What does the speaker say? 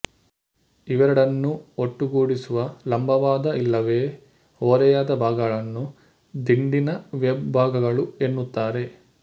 ಇವೆರಡನ್ನೂ ಒಟ್ಟುಗೂಡಿಸುವ ಲಂಬವಾದ ಇಲ್ಲವೇ ಓರೆಯಾದ ಭಾಗಗಳನ್ನು ದಿಂಡಿನ ವೆಬ್ ಭಾಗಗಳು ಎನ್ನುತ್ತಾರೆ